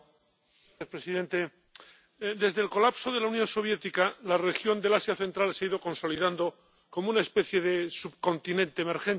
Señor presidente, desde el colapso de la Unión Soviética, la región del Asia Central se ha ido consolidando como una especie de subcontinente emergente.